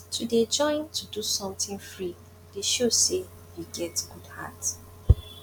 to dey join to do sometin free dey show sey you get good heart